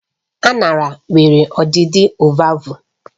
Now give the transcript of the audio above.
Aṅara nwere ọdịdị ovalvụ